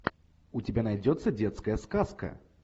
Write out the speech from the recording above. у тебя найдется детская сказка